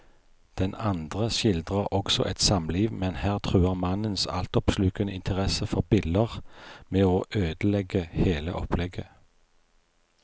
Den andre skildrer også et samliv, men her truer mannens altoppslukende interesse for biller med å ødelegge hele opplegget.